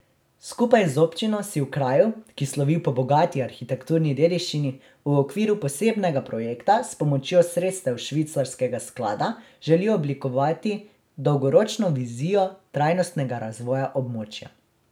Skupaj z občino si v kraju, ki slovi po bogati arhitekturni dediščini, v okviru posebnega projekta s pomočjo sredstev švicarskega sklada želijo oblikovati dolgoročno vizijo trajnostnega razvoja območja.